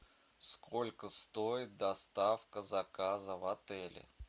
сколько стоит доставка заказа в отеле